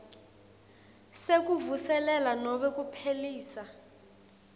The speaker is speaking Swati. sekuvuselela nobe kuphelisa